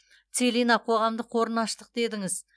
целина қоғамдық қорын аштық дедіңіз